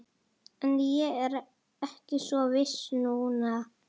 En ég er ekki svo viss núna